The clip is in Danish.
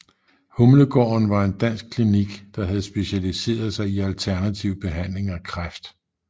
Humlegaarden var en dansk klinik der havde specialiseret sig i alternativ behandling af kræft